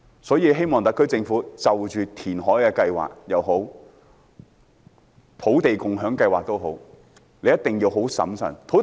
所以希望特區政府就着填海計劃也好，土地共享先導計劃也好，一定要審慎行事。